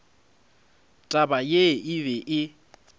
taba ye e be e